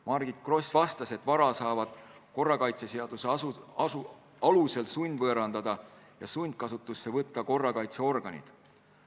Margit Gross vastas, et vara saavad korrakaitseseaduse alusel sundvõõrandada ja sundkasutusse võtta korrakaitseorganid.